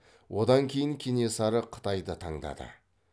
одан кейін кенесары қытайды таңдады